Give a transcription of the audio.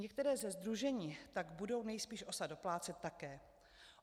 Některé ze sdružení tak budou nejspíš OSA doplácet také.